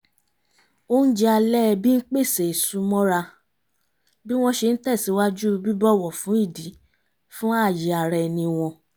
oúnjẹ alẹ́ ẹbí ń pèsè ìsúmọ́ra bí wọ́n ṣe ń tẹ̀síwájú bíbọ̀wọ̀ fún ìdí fún ààyè ara ẹni wọn